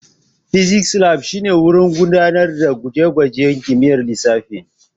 Physics Lab shine wurin gudanar da gwaje-gwajen kimiyyar lissafi.